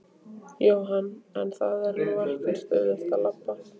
Jóhann: En það er nú ekkert auðvelt að labba?